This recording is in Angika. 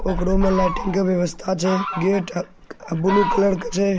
कोकडू में लाईटिंग का व्यवस्था छै। गेट अ-अ ब्लू कलर का छै।